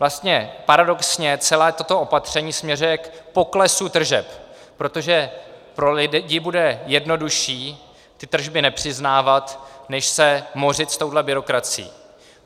Vlastně paradoxně celé toto opatření směřuje k poklesu tržeb, protože pro lidi bude jednodušší ty tržby nepřiznávat, než se mořit s touhle byrokracií.